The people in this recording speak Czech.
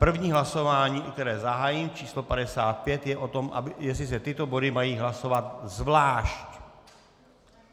První hlasování, které zahájím, číslo 55, je o tom, jestli se tyto body mají hlasovat zvlášť.